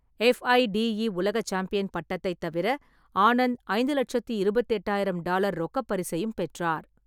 FIDE உலக champion பட்டத்தைத் தவிர, ஆனந்த் ஐந்து லெட்சத்தி இருபத்தெட்டாயிரம் டாலர் ரொக்கப் பரிசையும் பெற்றார்.